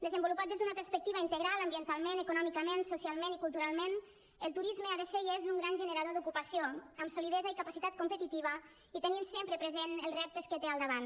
desenvolupat des d’una perspectiva integral ambientalment econòmicament socialment i culturalment el turisme ha de ser i és un gran generador d’ocupació amb solidesa i capacitat competitiva i tenint sempre present els reptes que té al davant